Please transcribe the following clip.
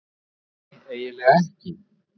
Nei, eiginlega ekki.